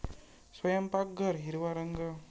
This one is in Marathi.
स्वयंपाकघर हिरवा रंग